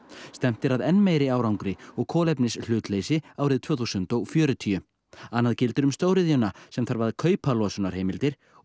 stefnt er að enn meiri árangri og kolefnishlutleysi árið tvö þúsund og fjörutíu annað gildir um stóriðjuna sem þarf að kaupa losunarheimildir og